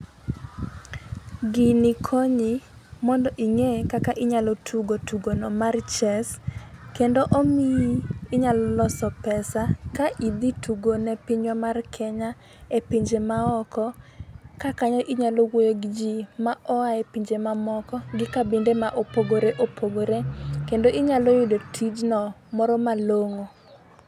Gini konyi mondo ing'e kaka inyalo tugo tugono mar chess, kendo omiyi inyalo loso pesa ka idhi tugone pinywa mar Kenya e pinje ma oko ka kanyo inyalo wuoye gi ji ma oae pinje mamoko gi kabinde ma opogoreopogore kendo inyalo yudo tijno moro malong'o.